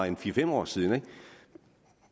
en fire fem år siden